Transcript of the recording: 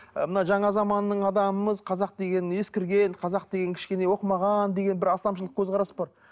ы мына жаңа заманның адамымыз қазақ деген ескірген қазақ деген кішкене оқымаған деген бір астамшылық көзқарас бар